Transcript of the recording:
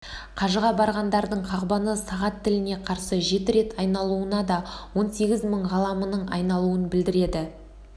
қажыға барғандардың қағбаны сағат тіліне қарсы жеті рет айналуы да он сегіз мың ғаламның айналуын білдіреді